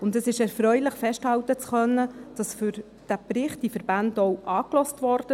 Es ist erfreulich, festhalten zu können, dass diese Verbände für den Bericht auch angehört wurden.